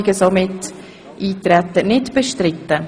Damit ist das Eintreten stillschweigend beschlossen.